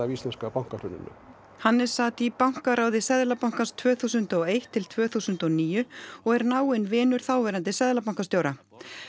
íslenska bankahruninu Hannes sat í bankaráði Seðlabankans tvö þúsund og eitt til tvö þúsund og níu og er náinn vinur þáverandi seðlabankastjóra